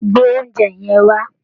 Gbé oúnjẹ yẹn wá